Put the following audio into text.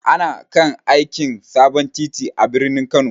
Ana kan aikin sabon titi a birnin Kano.